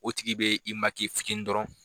O tigi be i fitini dɔrɔn.